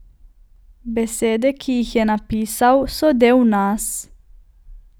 Besede, ki jih je napisal, so del nas.